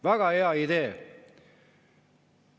Väga hea idee!